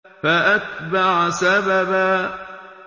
فَأَتْبَعَ سَبَبًا